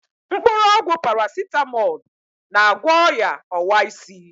Mkpụrụ ọgwụ Parasitamolu, na-agwọ o̻ya ọwa isi.